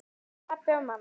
Pabbi og mamma